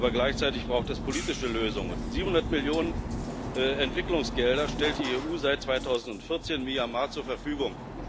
Aber gleichzeitig braucht es politische Lösungen. 700 Millionen Euro Entwicklungsgelder stellt die EU seit 2014 Myanmar zur Verfügung.